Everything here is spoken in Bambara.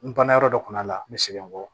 N banna yɔrɔ dɔ kunna la n bɛ segin n kɔ